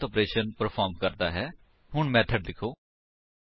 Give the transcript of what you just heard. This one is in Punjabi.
ਓਰਗ ਜਾਵਾ ਮੇਥਡ ਸਟੇਟਮੇਂਟਾ ਦਾ ਢੇਰ ਹੈ ਜੋ ਨਿਰਧਾਰਿਤ ਆਪਰੇਸ਼ਨ ਪਰ੍ਫੋਰਮ ਕਰਦਾ ਹੈ